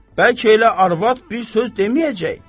Bəlkə elə arvad bir söz deməyəcək?